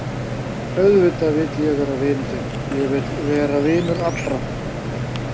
Auðvitað vil ég vera vinur þinn, ég vil vera vinur allra.